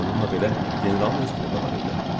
Bununla belə generalın öz pulu da var idi.